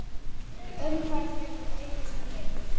Umferð hefur aukist mjög.